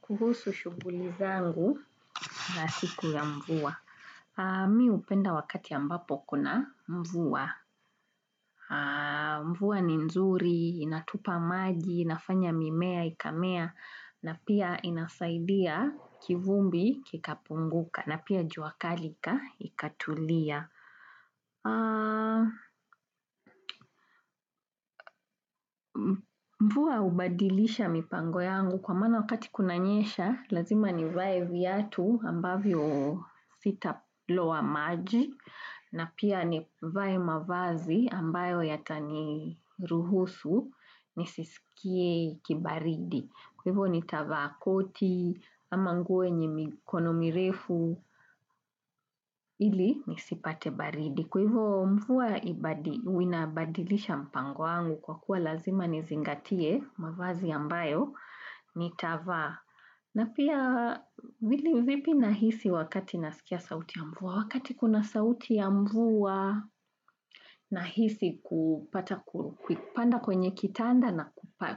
Kuhusu shughuli zangu za siku ya mvua. Mi upenda wakati ambapo kuna mvua. Mvua ni nzuri inatupa maji inafanya mimea ikamea na pia inasaidia kivumbi kikapunguka na pia jua kali ka ikatulia. Mvua ubadilisha mipango yangu kwa maana wakati kunanyesha lazima nivae viatu ambavyo sitaloa maji. Na pia nivae mavazi ambayo yatani ruhusu nisisikie kibaridi kwa hivyo nitavaa koti ama nguo yenye mikono mirefu. Ili nisipate baridi kwa hivyo mvua inabadilisha mpango wangu kwa kuwa lazima nizingatie mavazi yambayo nitavaa. Na pia vili vipi nahisi wakati nasikia sauti ya mvua. Wakati kuna sauti ya mvua nahisi kupata kukupanda kwenye kitanda na